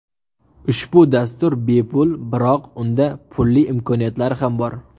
Ushbu dastur bepul, biroq unda pulli imkoniyatlari ham bor.